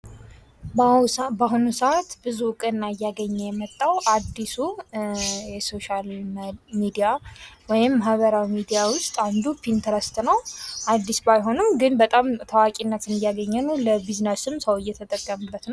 በአሁኑ ሰአት ብዙ እውቅና እያገኘ የመጣው አድሱ የሶሻል ሚዲያ ወይም የማህበራዊ ሚዲያ ውስት አንዱ ፒንተረስት ነው። አድስ ባይሆንም ግን በጣም ታዋቂነትን እያገኝ ነው። ለቢዝነስም ሰዉ እየተጠቀመበት ነው።